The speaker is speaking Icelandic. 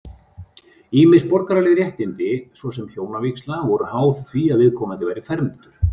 Ýmis borgaraleg réttindi, svo sem hjónavígsla, voru háð því að viðkomandi væri fermdur.